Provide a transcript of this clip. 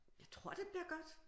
Jeg tror det bliver godt